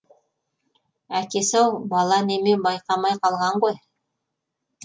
әкесі ау бала неме байқамай қалған ғой